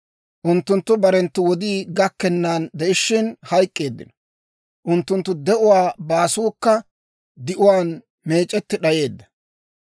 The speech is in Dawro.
Unttunttu barenttu wodii gakkennan de'ishiina hayk'k'eeddino; unttunttu de'uwaa baasuukka di'uwaan meec'etti d'ayeedda.